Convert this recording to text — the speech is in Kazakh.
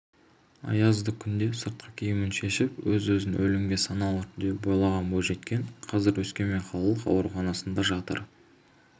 аязды күнде сыртқы киімін шешіп өз-өзін өлімге саналы түрде байлаған бойжеткен қазір өскемен қалалық ауруханасында жатыр